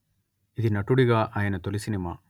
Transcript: ఇది నటుడిగా ఆయన తొలి సినిమా